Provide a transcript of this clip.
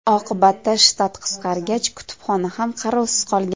Oqibatda shtat qisqargach, kutubxona ham qarovsiz qolgan.